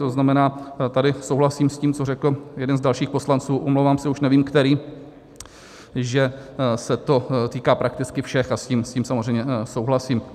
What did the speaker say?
To znamená, tady souhlasím s tím, co řekl jeden z dalších poslanců, omlouvám se, už nevím který, že se to týká prakticky všech, a s tím samozřejmě souhlasím.